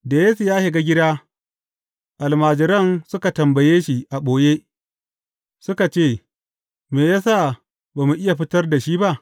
Da Yesu ya shiga gida, almajiransa suka tambaye shi a ɓoye, suka ce, Me ya sa ba mu iya fitar da shi ba?